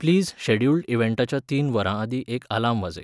please scheduled इव्हॅन्टाच्या तीन वरांआदीं एक आलार्म वाजय